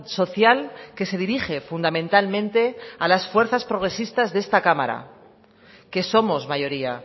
social que se dirige fundamentalmente a las fuerzas progresistas de esta cámara que somos mayoría